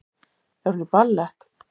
Er hún í ballett?